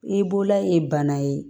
I bolola ye bana ye